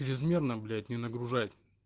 чрезмерно блять не нагружать